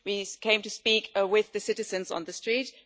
we came to speak with the citizens on the street